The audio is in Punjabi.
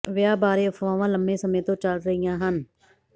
ਵਿਆਹ ਬਾਰੇ ਅਫਵਾਹਾਂ ਲੰਮੇ ਸਮੇਂ ਤੋਂ ਚਲ ਰਹੀਆਂ ਹਨ